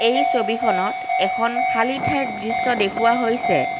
এই ছবিখনত এখন খালি ঠাইৰ দৃশ্য দেখুওৱা হৈছে।